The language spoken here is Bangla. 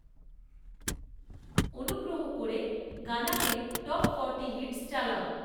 অনুগ্রহ করে গানাতে টপ ফর্টি হিটস্ চালাও৷